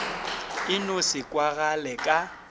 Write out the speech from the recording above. e no se kwagale ka